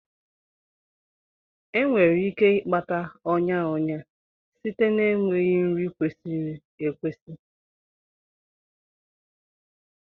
Enwere ike ịkpata ọnya ọnya site na enweghị nri kwesịrị ekwesị.